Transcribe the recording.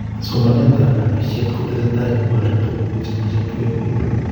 somanetab nobishet kotesetai kobore tuguk chemache koeek biik